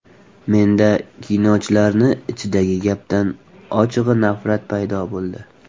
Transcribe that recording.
Menda, kinochilarni ichidagi gapdan, ochig‘i nafrat paydo bo‘ldi.